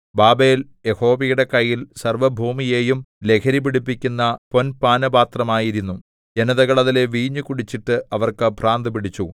Babel യഹോവയുടെ കയ്യിൽ സർവ്വഭൂമിയെയും ലഹരിപിടിപ്പിക്കുന്ന പൊൻപാനപാത്രം ആയിരുന്നു ജനതകൾ അതിലെ വീഞ്ഞു കുടിച്ചിട്ട് അവർക്ക് ഭ്രാന്തു പിടിച്ചു